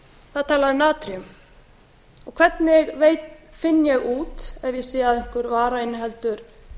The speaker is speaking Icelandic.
það er talað um natríum hvernig finn ég út ef ég sé að einhver vara inniheldur